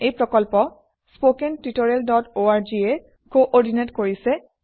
এই প্ৰকল্প httpspoken tutorialorg এ কোঅৰ্ডিনেট কৰিছে